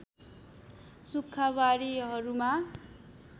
सुक्खा बारीहरूमा